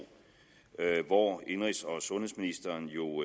hvor indenrigs og sundhedsministeren jo